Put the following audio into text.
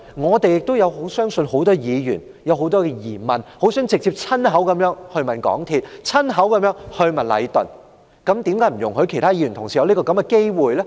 事實上，我相信多位議員亦有很多疑問，希望親口直接詢問港鐵公司及禮頓，為何不給予議員這個機會呢？